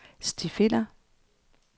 stifinder